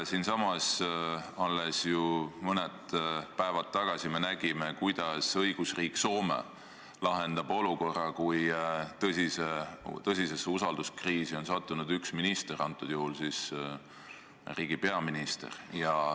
Alles mõned päevad tagasi siinsamas me ju nägime, kuidas õigusriik Soome lahendab olukorra, kui tõsisesse usalduskriisi on sattunud üks minister, kõnealusel juhul siis riigi peaminister.